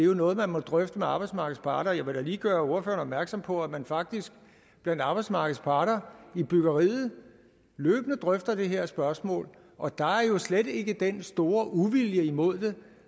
jo noget man må drøfte med arbejdsmarkedets parter jeg vil da lige gøre ordføreren opmærksom på at man faktisk blandt arbejdsmarkedets parter i byggeriet løbende drøfter dette spørgsmål og der er jo slet ikke den store uvilje imod det